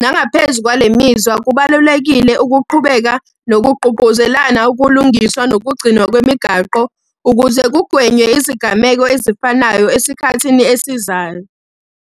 Nangaphezu kwale mizwa kubalulekile ukuqhubeka nokugqugquzelana ukulungiswa nokugcinwa kwemigaqo ukuze kugwenywe izigameko ezifanayo esikhathini esizayo.